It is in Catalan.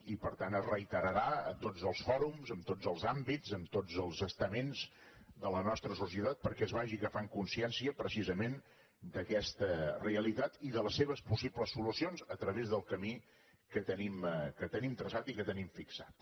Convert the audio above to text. i per tant es reiterarà a tots els fòrums en tots els àmbits en tots els estaments de la nostra societat perquè es vagi agafant consciència precisament d’aquesta realitat i de les seves possibles solucions a través del camí que tenim traçat i que tenim fixat